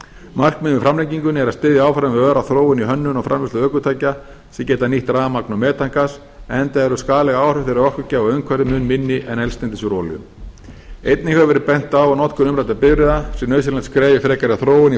markmið með framlengingunni er að styðja áfram við öra þróun í hönnun og framleiðslu ökutækja sem geta nýtt rafmagn og metangas enda eru skaðleg áhrif þeirra orkugjafa á umhverfið mun minni en eldsneytis úr olíu einnig hefur verið bent á að notkun umræddra bifreiða sé nauðsynlegt skref í frekari þróun í